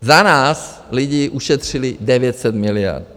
Za nás lidi ušetřili 900 miliard.